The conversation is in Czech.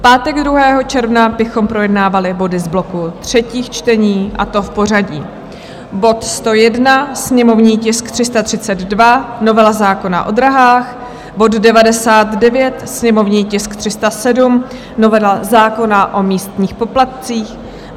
V pátek 2. června bychom projednávali body z bloku třetích čtení, a to v pořadí: bod 101, sněmovní tisk 332, novela zákona o dráhách; bod 99, sněmovní tisk 307, novela zákona o místních poplatcích;